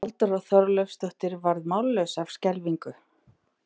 Halldóra Þorleifsdóttir varð mállaus af skelfingu.